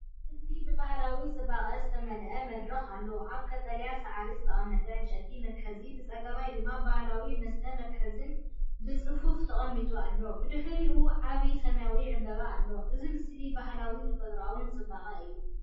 እዚ ብባህላዊ ጽባቐ ዝተመልአ መድረኽ ኣሎ። ኣብ ቀጠልያ ሳዕሪ ዝተቐመጠ ዕንጨይቲ መትሓዚን ብጸጋም ድማ ባህላዊ መስተ መትሓዚን ብጽፉፍ ተቐሚጦም ኣለዉ። ብድሕሪኡ ዓቢ ሰማያዊ ዕምባባ ኣሎ፣ እዚ ምስሊ ባህላውን ተፈጥሮኣውን ጽባቐ እዩ።